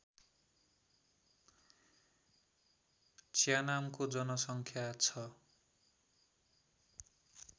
च्यानामको जनसङ्ख्या छ